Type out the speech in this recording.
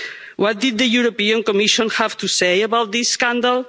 What did the European Commission have to say about this scandal?